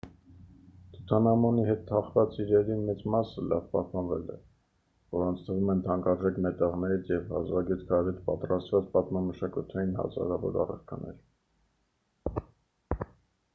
թութանհամոնի հետ թաղված իրերի մեծ մասը լավ պահպանվել է որոնց թվում են թանկարժեք մետաղներից և հազվագյուտ քարերից պատրաստված պատմամշակութային հազարավոր առարկաներ